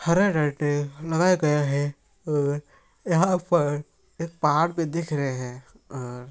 हरा लगाया गया है और यहाँ पर एक पहाड़ भी दिख रहे हैं और --